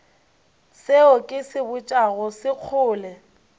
seo ke se botšago sekgole